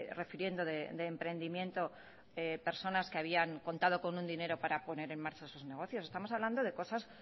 refiriendo de emprendimiento personas que habían contado con un dinero para poner en marchas sus negocios estamos hablando de cosas